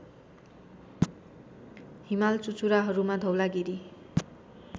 हिमाल चुचुराहरूमा धौलागिरि